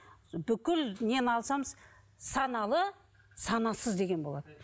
бүкіл нені саналы санасыз деген болады